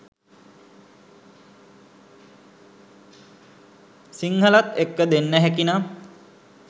සිංහලත් එක්ක දෙන්න හැකිනම්